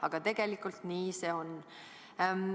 Aga tegelikult nii see on.